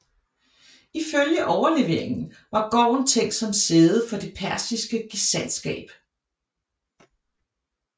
Ifølge overleveringen var gården tænkt som sæde for det persiske gesandtskab